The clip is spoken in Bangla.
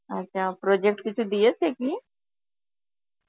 আর অ্যাঁ project কিছু দিয়েছে কি?